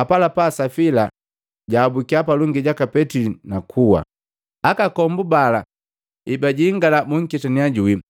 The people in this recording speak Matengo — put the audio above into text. Apalapa Safila jaabukiya palongi jaka Petili na kuwa. Akakombu bala ebajingala bunketannya juwii,